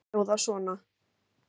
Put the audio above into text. Þær hljóða svona: